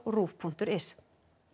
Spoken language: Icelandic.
ruv punktur is